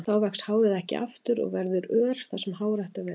Þá vex hárið ekki aftur og eftir verður ör þar sem hár ætti að vera.